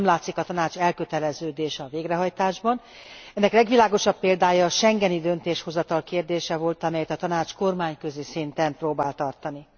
Nem látszik a Tanács elköteleződése a végrehajtásban. Ennek legvilágosabb példája a schengeni döntéshozatal kérdése volt, amelyet a Tanács kormányközi szinten próbált tartani.